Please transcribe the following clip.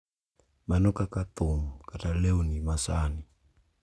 Mana kaka thum kata lewni ma sani,